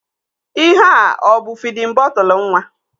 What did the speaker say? Ihea ọ bụ fidin bọtụlu nwa?